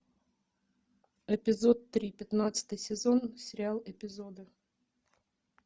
эпизод три пятнадцатый сезон сериал эпизоды